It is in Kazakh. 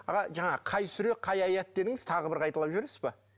аға жаңа қай сүре қай аят дедіңіз тағы бір қайталап жібересіз бе